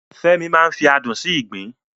Fẹ́mi máa ń fi adùn sí ìgbín